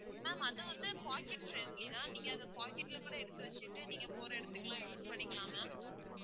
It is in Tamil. ma'am அது வந்து pocket friendly தான் நீங்க அதை pocket ல கூட எடுத்து வச்சிட்டு நீங்க போற இடத்துக்கு எல்லாம் use பண்ணிக்கலாம் ma'am